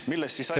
Teie aeg!